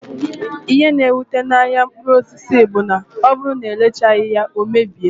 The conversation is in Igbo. Ihe na ewute n'ahia mkpụrụ osisi bụ na ọbụrụ na erechaghi ya, ọ mebie